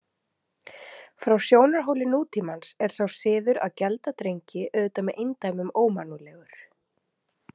Frá sjónarhóli nútímans er sá siður að gelda drengi auðvitað með eindæmum ómannúðlegur.